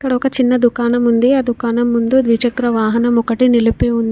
అక్కడ ఒక చిన్న దుకాణం ఉంది ఆ దుకాణం ముందు ద్విచక్ర వాహనం ఒకటి నిలిపి ఉంది.